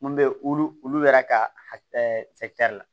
Mun bɛ wulu wulu yɛrɛ ka la